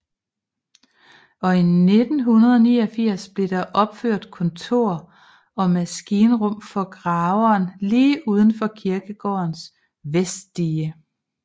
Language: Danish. Og i 1989 blev der opført kontor og maskinrum for graveren lige uden for kirkegårdens vestdige